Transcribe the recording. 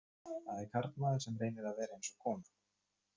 Það er karlmaður sem reynir að vera eins og kona